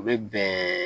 U bɛ bɛn